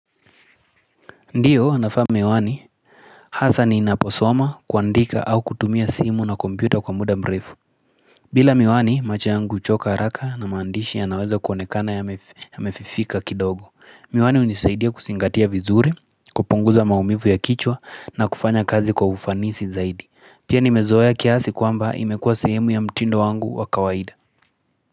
Ndiyo, navaa miwani, hasaa ninaposoma kuandika au kutumia simu na kompyuta kwa muda mrefu. Bila miwani, macho yangu huchoka haraka na maandishi yanaweza kuonekana yamefifika kidogo. Miwani hunisaidia kuzingatia vizuri, kupunguza maumivu ya kichwa na kufanya kazi kwa ufanisi zaidi. Pia nimezoea ya kiasi kwamba imekuwa sehemu ya mtindo wangu wa kawaida.